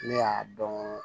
Ne y'a dɔn